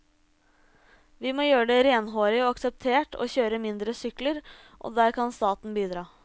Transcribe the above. Vi må gjøre det renhårig og akseptert å kjøre mindre sykler, og der kan staten bidra.